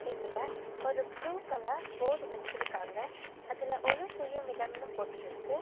இதுல ஒரு blue colour board வெச்சிருக்காங்க அதுல ஒலு செய்யும் இடம்னு போட்ருக்கு.